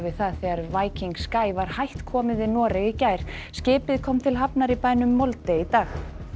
það þegar Viking Sky var hætt komið við Noreg í gær skipið kom til hafnar í bænum Molde í dag